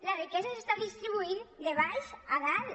la riquesa s’està distribuint de baix a dalt